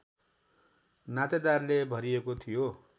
नातेदारले भरिएको थियो